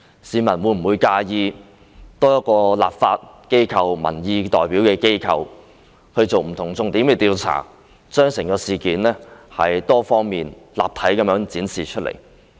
市民會否介意多一個作為民意代表的立法機關作不同重點的調查，把整件事多方面、立體地展示出來？